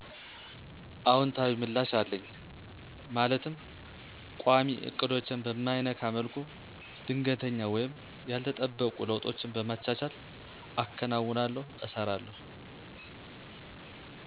አውንታዊ ምላሽ አለኝ ማለትም ቋሚ እቅዶቼን በማይነካ መልኩ ድንገተኛ ወይም ያልተጠበቁ ለውጦችን በማቻቻል አከናውናለሁ እሰራለሁ።